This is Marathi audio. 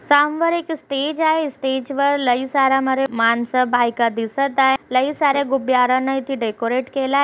एक स्टेज आहे स्टेजवर लई सारे माणसे बाईका दिसत आहेत लई सारे गुब्याराणी इथे डेकोरेट केल--